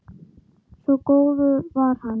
Svo góður var hann.